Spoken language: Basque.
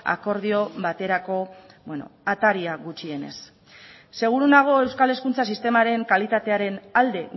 akordio baterako ataria gutxienez seguru nago euskal hezkuntza sistemaren kalitatearen alde